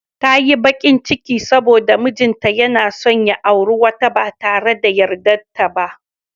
Ta yi bakin ciki domin mijinta yana son ya auri wata ba tare da yardarta ba.